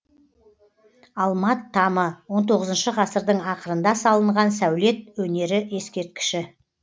алмат тамы он тоғызыншы ғасырдың ақырында салынған сәулет өнері ескерткіші